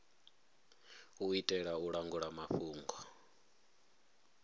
u itela u langula mafhungo